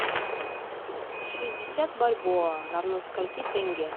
шестьдесят бальбоа равно скольки тенге